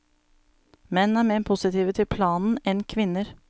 Menn er mer positive til planen enn kvinner.